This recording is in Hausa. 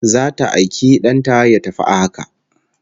Zata aiki dan ta ya tafi a haka